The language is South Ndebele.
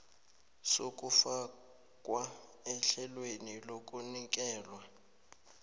sokufakwa ehlelweni lokunikelwa